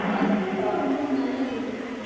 வசம்பு ரொம்ப நல்லது